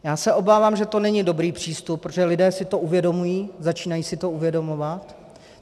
Já se obávám, že to není dobrý přístup, protože lidé si to uvědomují, začínají si to uvědomovat.